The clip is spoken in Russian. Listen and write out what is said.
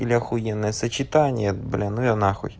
или ахуенное сочетание блины нахуй